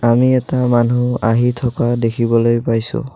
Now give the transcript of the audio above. আমি এটা মানুহ আহি থকা দেখিবলৈ পাইছোঁ।